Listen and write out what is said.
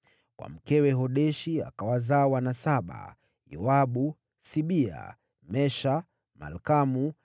Kwa mkewe Hodeshi, akawazaa wana saba: Yobabu, Sibia, Mesha, Malkamu,